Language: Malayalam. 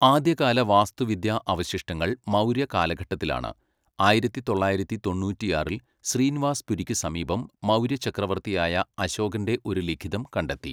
ആദ്യകാല വാസ്തുവിദ്യാ അവശിഷ്ടങ്ങൾ മൗര്യ കാലഘട്ടത്തിലാണ്, ആയിരത്തി തൊള്ളായിരത്തി തൊണ്ണൂറ്റിയാറിൽ ശ്രീനിവാസ്പുരിക്ക് സമീപം മൗര്യ ചക്രവർത്തിയായ അശോകൻ്റെ ഒരു ലിഖിതം കണ്ടെത്തി.